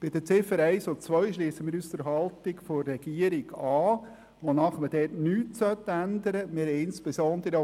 Bei den Ziffern 1 und 2 schliessen wir uns der Haltung der Regierung an, wonach dort nichts geändert werden soll.